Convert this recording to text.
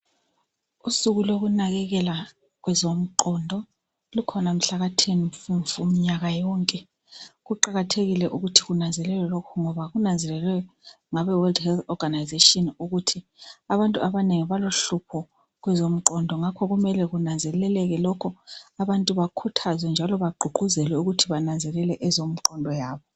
Usuku lokunakekela kwezomqondo lukhona mhlaka 10 mfumfu mnyaka yonke ,kuqakathekile ukuthi kunanzelelwe ngoba kunanzelelwe ngabe "world health organisation " ukuthi abantu abanengi balohlupho kwezomqondo ngakho kumele kunanzeleleke lokhu abantu bakhuthazwe njalo bagququzelwe kwezomqondo.